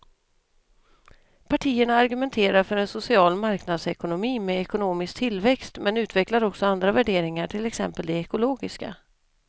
Partierna argumenterar för en social marknadsekonomi med ekonomisk tillväxt men utvecklar också andra värderingar, till exempel de ekologiska.